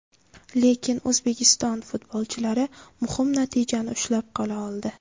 Lekin O‘zbekiston futbolchilari muhim natijani ushlab qola oldi.